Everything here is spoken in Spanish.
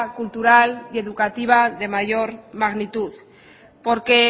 cultural y educativa de mayor magnitud porque